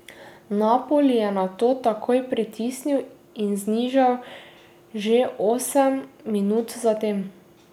Napoli je nato takoj pritisnil in znižal že osem minut zatem.